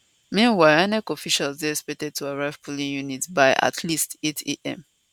meanwhile inec officials dey expected to arrive polling units by at least 800am